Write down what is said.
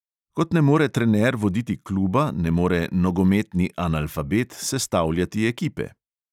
Kot ne more trener voditi kluba, ne more "nogometni analfabet" sestavljati ekipe.